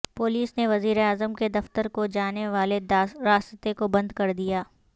police نے وزیراعظم کے دفتر کو جانے والے راستے کو بند کر دیا